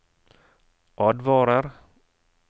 advarer